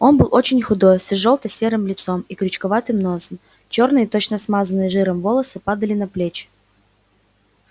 он был очень худой с изжелта-серым лицом и крючковатым носом чёрные точно смазанные жиром волосы падали на плечи